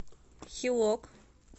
хилок